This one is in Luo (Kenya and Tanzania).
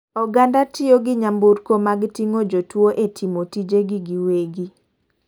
Oganda tiyo gi nyamburko mag ting'o jotuo e timo tije gi giwegi.